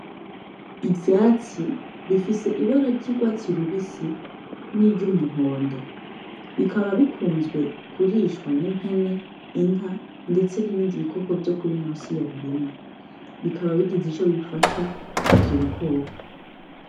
Ivyatsi bifise ibara ry’urwatsi rubisi n’iry’umuhondo, bikaba bikunzwe kurishwa n’impene, inka ndetse n’ibindi bikoko vyo kuri ino si ya rurema, bikaba bigize ico bifasha ivyo bikoko.